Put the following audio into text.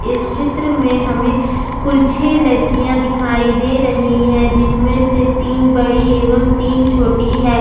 इस चित्र में हमें कुल छह लड़कियां दिखाई दे रही है जिनमें से तीन बड़ी एवं तीन छोटी है।